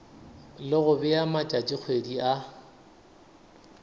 le go bea matšatšikgwedi a